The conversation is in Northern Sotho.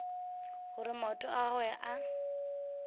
gore maoto a gagwe a